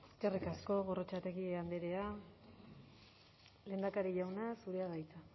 eskerrik asko gorrotxategi andrea lehendakari jauna zurea da hitza